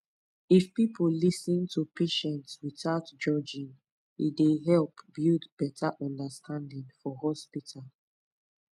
if people lis ten to patients without judging e dey help build better understanding for hospital